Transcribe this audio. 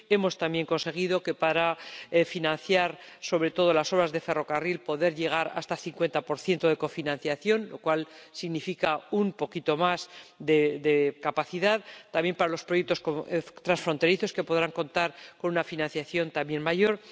hemos, también, conseguido que, para financiar sobre todo las horas de ferrocarril, se pueda llegar hasta el 50 de cofinanciación, lo cual significa un poquito más de capacidad también para los proyectos transfronterizos, que podrán contar con una financiación también mayor